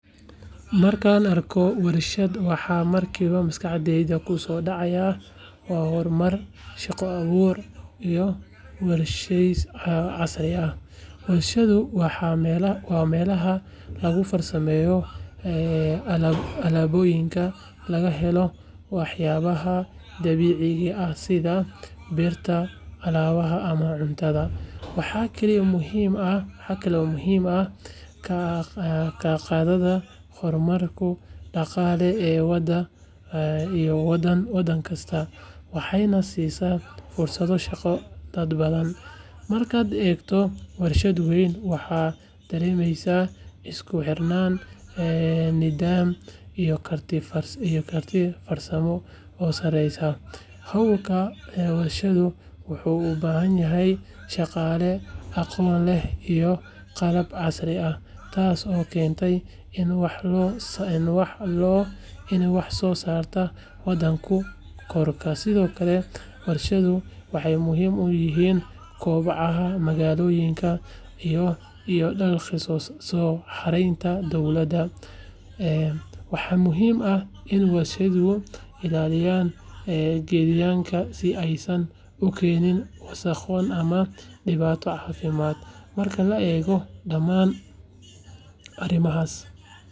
Markaan arko warshad, waxa markiiba maskaxdayda ku soo dhacaya waa horumar, shaqo abuur, iyo warshadaysi casri ah. Warshadu waa meelaha lagu farsameeyo alaabooyinka laga helo waxyaabaha dabiiciga ah sida birta, alwaaxa, ama cuntada. Waxay kaalin muhiim ah ka qaadataa horumarka dhaqaale ee waddan kasta, waxayna siisaa fursado shaqo dad badan. Markaad eegto warshad weyn, waxaad dareemaysaa isku xirnaan, nidaam, iyo karti farsamo oo sareysa. Hawlgalka warshaduhu wuxuu u baahan yahay shaqaale aqoon leh iyo qalab casri ah, taas oo keenta in wax-soo-saarka waddanku kordho. Sidoo kale, warshaduhu waxay muhiim u yihiin koboca magaalooyinka iyo dakhli soo xareynta dowladda. Waxaa muhiim ah in warshaduhu ilaaliyaan deegaanka, si aysan u keenin wasakhow ama dhibaato caafimaad. Marka la eego dhammaan arrimahan.